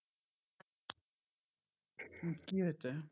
হম কি হয়েছে?